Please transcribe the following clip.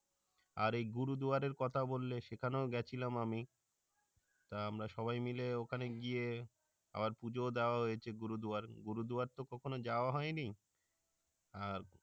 আর গুরুদুয়ারার কথা বললে সেখানেও গেছিলাম আমি, তো আমরা সবাই মিলে ওখানে গিয়ে আবার পূজোও দেওয়া হয়েছে গুরুদুয়ারায় গুরুদয়ার তো কখন যাওয়া হইনি আর